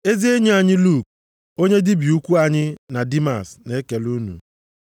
Ezi enyi anyị Luk, onye dibịa ukwu anyị na Dimas na-ekele unu.